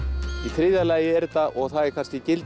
þriðja lagi er þetta og það er